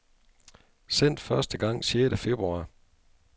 Sendt første gang sjette februar.